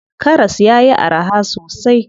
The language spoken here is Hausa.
Karas yayi araha sosai.